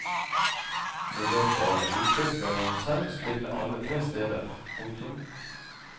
I løpet av en uke skal han selv spille alle tre steder. punktum